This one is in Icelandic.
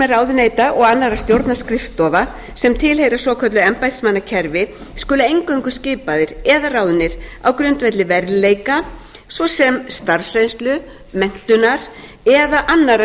aðrir starfsmenn ráðuneyta og annarra stjórnarskrifstofa sem tilheyra svokölluðu embættismannakerfi skulu eingöngu skipaðir eða ráðnir á grundvelli verðleika svo sem starfsreynslu menntunar eða annarrar